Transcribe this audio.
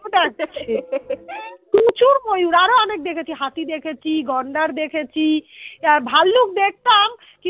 তখন প্রচুর ময়ূর আরো অনেক দেখেছি হাতি দেখেছি গন্ডার দেখেছি ভাল্লুক দেখতাম